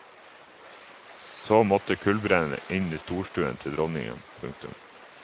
Så måtte kullbrenneren inn i storstuen til dronningen. punktum